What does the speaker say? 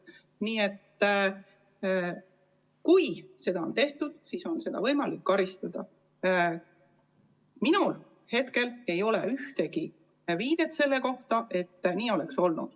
Minul ei ole praegu ühtegi viidet selle kohta, et oleks olnud.